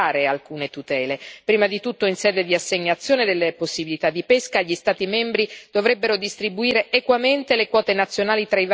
Prima di tutto, in sede di assegnazione delle possibilità di pesca, gli Stati membri dovrebbero distribuire equamente le quote nazionali tra i vari segmenti di flotta.